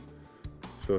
svo